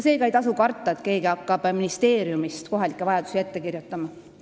Seega ei tasu karta, et keegi hakkab ministeeriumist kohalikke vajadusi ette kirjutama.